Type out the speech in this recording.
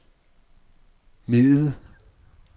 middel